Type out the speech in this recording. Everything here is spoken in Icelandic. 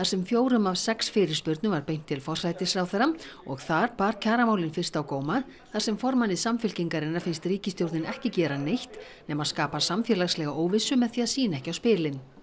sem fjórum af sex fyrirspurnum var beint til forsætisráðherra og þar bar kjaramálin fyrst á góma þar sem formanni Samfylkingarinnar finnst ríkisstjórnin ekki gera neitt nema skapa samfélagslega óvissu með því að sýna ekki á spilin